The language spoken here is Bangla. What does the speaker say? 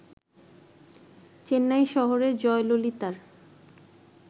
চেন্নাই শহরে জয়ললিতার